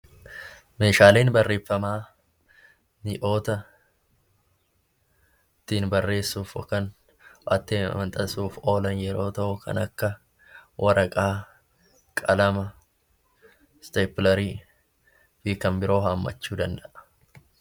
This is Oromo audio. Meeshaaleen barreeffamaa mi'oota ittiin barreessuuf yookaan katabuuf oolan yommuu ta'u, kan akka waraqaa , qalama, isteeppilarii fi kan biroo hammachuu danda'a.